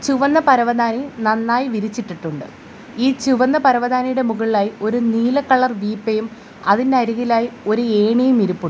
ചുവന്ന പരവതാനി നന്നായി വിരിച്ചിട്ടിട്ടുണ്ട് ഈ ചുവന്ന പരവതാനിയുടെ മുകളിലായി ഒരു നീല കളർ വീപ്പയും അതിന് അരികിലായി ഒരു ഏണിയും ഇരിപ്പുണ്ട്.